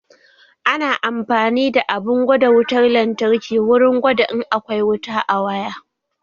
Ana amfani da abun gwada wutar lantarki wurin gwada in akwai wuta a waya